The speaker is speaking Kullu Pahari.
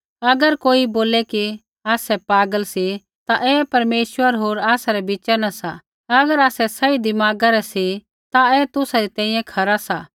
अगर कोई बोलै कि आसै पागल सी ता ऐ परमेश्वर होर आसा रै बिच़ा न सा अगर आसै सही दिमागा रै सी ता ऐ तुसा री तैंईंयैं खरा सा